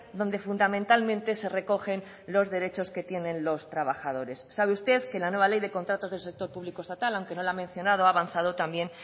donde fundamentalmente se recogen los derechos que tienen los trabajadores sabe usted que en la nueva ley de contratos del sector público estatal aunque no la ha mencionado ha avanzado también